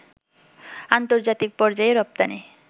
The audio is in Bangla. আন্তর্জাতিক পর্যায়ে রপ্তানি